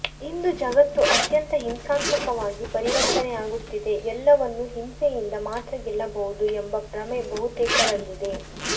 ಇಂದು ಜಗತ್ತು ಅತ್ಯಂತ ಹಿಂಸಾತ್ಮಕವಾಗಿ ಪರಿವರ್ತನೆಯಾಗುತ್ತಿದೆ ಎಲ್ಲವನ್ನು ಹಿಂಸೆಯಿಂದ ಮಾತ್ರ ಗೆಲ್ಲಬಹುದು ಎಂಬ ಭ್ರಮೆ ಬಹುತೇಕರಲ್ಲಿದೆ